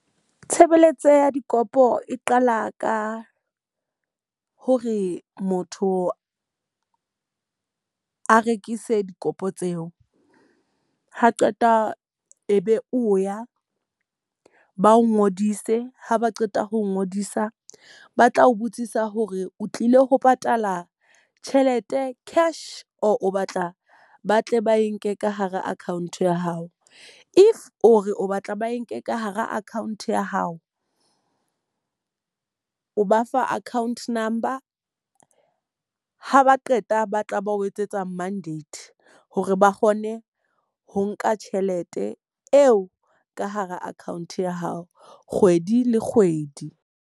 Tshebeletso ya dikopo e qala ka hore motho a rekise dikopo tseo. Ha qeta e be o ya ba o ngodise, ha ba qeta ho ngodisa ba tla o botsisa hore o tlile ho patala tjhelete cash or o batla ba tle ba e nke ka hara account ya hao. If o re o batla ba e nke ka hara account ya hao, o ba fa account number. Ha ba qeta ba tla ba o etsetsa mandate hore ba kgone ho nka tjhelete eo ka hara account ya hao kgwedi le kgwedi.